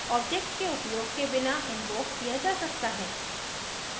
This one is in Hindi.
friend function object के उपयोग के बिना इन्वोक किया जा सकता है